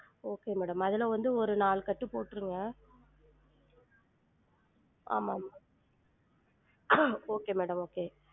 Okay madam அதுல வந்து ஒரு நாலு கட்டு போற்றுங்க ஆமா okay madam okay